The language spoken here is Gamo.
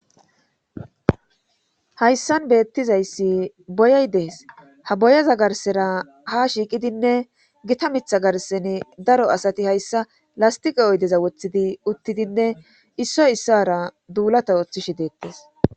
Hayssan beettizayssi boyay dees ha boyaza garsera ha shiiqidinne gita mitha garseni daro asati hayssa lastiqa oydeza wothidi uttidinne issoy issara duulata ooththishe deettes.